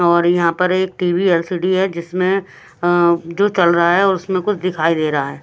और यहाँ पर एक टीवी एलसीडी हैजिसमें जो चल रहा हैऔर उसमें कुछ दिखाई दे रहा है।